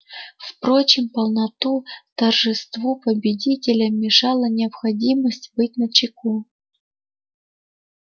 впрочем полному торжеству победителя мешала необходимость быть начеку